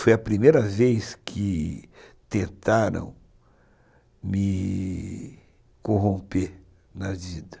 Foi a primeira vez que tentaram me corromper na vida.